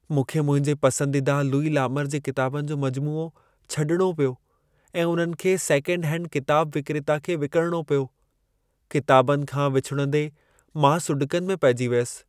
मूंखे मुंहिंजे पसंदीदा लुई लामूर जे किताबनि जो मजमूओ छॾिणो पियो ऐं उन्हनि खे सेकेंडहैंड किताब विक्रेता खे विकिणिणो पियो। किताबनि खां विछुड़ंदे मां सुॾिकनि में पहिजी वियसि।